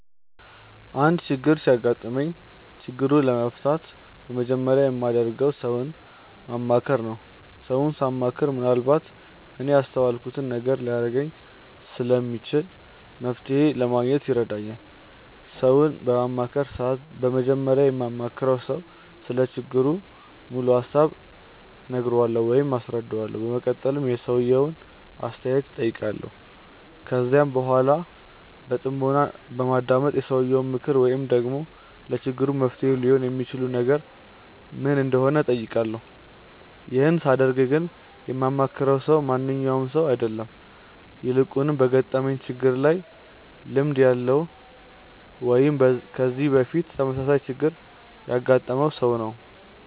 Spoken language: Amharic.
አንድ ችግር ሲያጋጥመኝ ችግሩን ለመፍታት በመጀመሪያ የማደርገው ሰውን ማማከር ነው። ሰውን ሳማክር ምንአልባት እኔ ያላስተዋልኩትን ነገር ሊነግረኝ ስለሚችል መፍተሔ ለማግኘት ይረዳኛል። ሰውን በማማክርበት ሰዓት በመጀመሪያ ለማማክረው ሰው ስለ ችግሩ ሙሉ ሀሳብ እነግረዋለሁ ወይም አስረዳዋለሁ። በመቀጠልም የሰውየውን አስተያየት እጠይቃለሁ። ከዚያም በኃላ በጥሞና በማዳመጥ የሰውየው ምክር ወይም ደግሞ ለችግሩ መፍትሔ ሊሆን የሚችል ነገር ምን እንደሆነ እጠይቃለሁ። ይህን ሳደርግ ግን የማማክረው ሰው ማንኛውም ሰው አይደለም። ይልቁንም በገጠመኝ ችግር ላይ ልምድ ያለው ወይም ከዚህ በፊት ተመሳሳይ ችግር ያገጠመውን ሰው ነው።